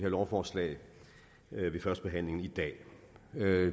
lovforslag ved førstebehandlingen i dag